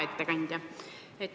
Hea ettekandja!